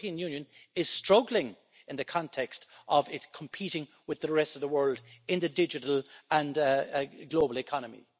The European Union is struggling in the context of its competing with the rest of the world in the digital and global economy.